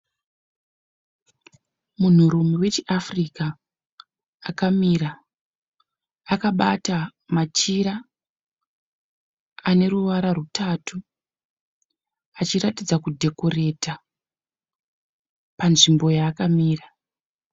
Munhurume wechiAfrica akamira akabata machira ane ruvara rutatu achiratidza kudhekoreta panzvimbo yaakamira.